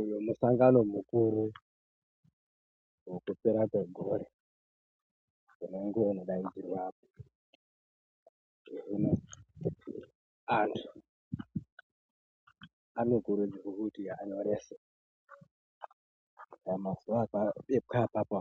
Uyu musangano mukuru wekupera kwegore unenge unodainzwirwa apo hino antu anokurudzirwe kuti anyorese mazuv epapapo